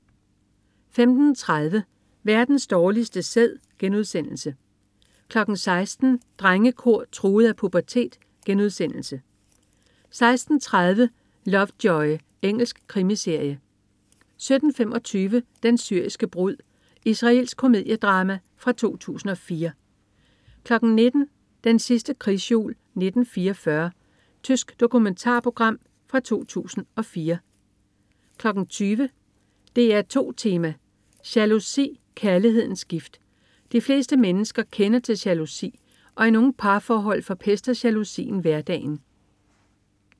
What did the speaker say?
15.30 Verdens dårligste sæd* 16.00 Drengekor truet af pubertet* 16.30 Lovejoy. Engelsk krimiserie 17.25 Den syriske brud. Israelsk komediedrama fra 2004 19.00 Den sidste krigsjul 1944. Tysk dokumentarprogram fra 2004 20.00 DR2 Tema: Jalousi, kærlighedens gift. De fleste mennesker kender til jalousi, og i nogle parforhold forpester jalousien hverdagen